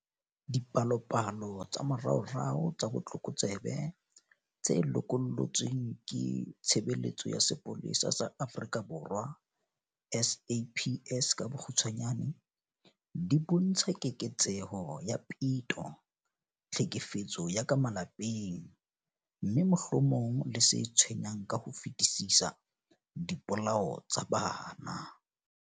Dipalopalo tsa moraorao tsa botlokotsebe tse lokollotsweng ke Tshebeletso ya Sepolesa sa Afrika Borwa SAPS di bontsha keketseho ya peto, tlhekefetso ya ka malapeng, mme, mohlomong le se tshwenyang ka ho fetisisa, dipolao tsa bana.